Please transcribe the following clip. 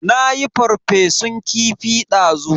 Nayi ferfesun kifi dazu.